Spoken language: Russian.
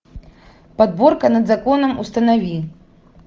подборка над законом установи